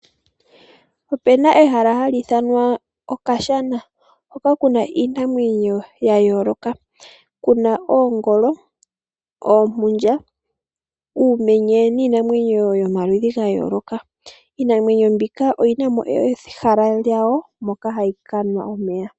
Opu na ehala hali ithanwa Okashana hoka ku na iinamwenyo ya yooloka ku na oongolo, oompundja, uumenye niinamweyo yomaludhi ga yooloka. Iinamwenyo mbika oyi namo ehala lyawo moka hayi kanwa omeya.